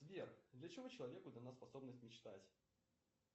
сбер для чего человеку дана способность мечтать